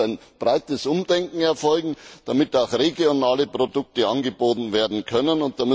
Da muss ein breites Umdenken erfolgen, damit auch regionale Produkte angeboten werden können.